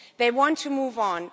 They want to move on.